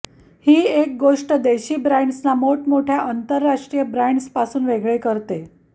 ही एक गोष्ट देशी ब्रँड्सना मोठमोठ्या आंतरराष्ट्रीय ब्रँड्स पासून वेगळे करते